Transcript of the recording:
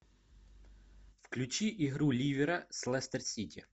включи игру ливера с лестер сити